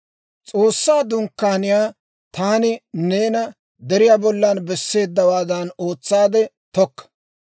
S'oossaa Dunkkaaniyaa taani neena deriyaa bollan besseeddawaadan ootsaadde tokka.